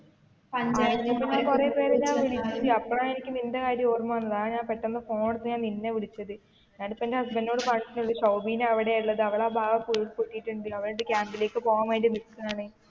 അറിഞ്ഞപ്പോ ഞാൻ കുറെ പേരെ ഞാൻ വിളിച്ച് അപ്പോഴാണ് എനിക്ക് നിന്റെ കാര്യം ഓർമ്മ വന്നത് അതാണ് ഞാൻ പെട്ടെന്ന് phone എടുത്ത് നിന്നെ വിളിച്ചത് ഞാൻ ഇപ്പൊ എന്റെ husband ന്നോട് പറഞ്ഞാട്ടേ ഒള്ളു ശോഭിന അവിടെയാ ഉള്ളത് അവളുടെ ആ ഭാഗം ഒക്കെ പുട്ടിട്ടുണ്ട് അവൾ എന്നിട്ട് camp ലേക്ക് പോകാൻ വേണ്ടി നിക്കുവാന്ന്.